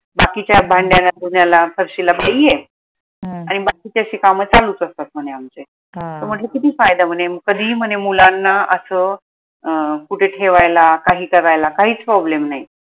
बाकीच्या भांड्याला धुण्याला फरशीला बाई आहे आणि बाकीचे अशे काम चालूच असतात म्हने आमचे त म्हणल किती फायदा म्हने कधीही म्हने मुलांना असं अं कुठे ठेवायला काही करायला काहीच problem नाई